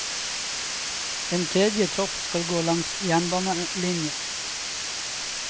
En tredje tropp skal gå langs jernbanelinja.